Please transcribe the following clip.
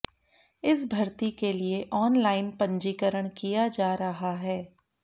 इस भर्ती के लिए ऑनलाइन पंजीकरण किया जा रहा है